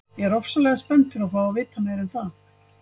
Ég er ofsalega spenntur að fá að vita meira um það.